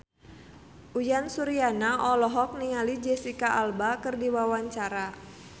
Uyan Suryana olohok ningali Jesicca Alba keur diwawancara